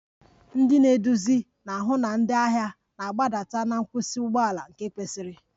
Ndị na-eduzi na-ahụ na ndị ahịa na-agbadata na nkwụsị ụgbọ ala nke kwesiri